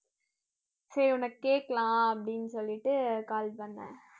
சரி உனக்கு கேக்கலாம் அப்படின்னு சொல்லிட்டு call பண்ணேன்